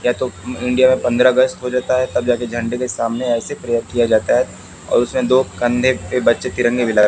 या तो अं इंडिया का पंद्रह अगस्त हो जाता है तब जा के झंडे के सामने ऐसे प्रेयर किया जाता है और उसमें दो कंधे पे बच्चे तिरंगे लगा--